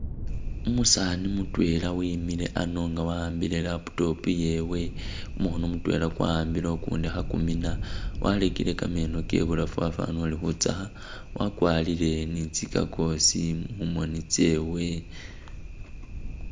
Umusani mutwela wemile ano nga wahambile laptop iyewe kumukhono kutwela kwahambile ukundi khekumina walekela kameno kewe ibulafu wafanile uli khutsakha wakwarile ni tsi gaggles mumoni tsewe.